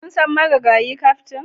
Kun san marigayi kaftin?